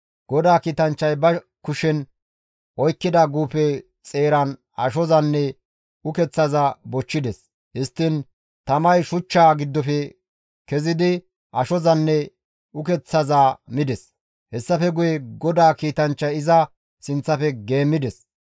GODAA kiitanchchay ba kushen oykkida guufe xeeran ashozanne ukeththaza bochchides; histtiin tamay shuchchaa giddofe kezidi ashozanne ukeththaza mides; hessafe guye GODAA kiitanchchay iza sinththafe geemmides.